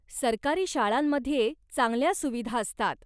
सरकारी शाळांमध्ये चांगल्या सुविधा असतात.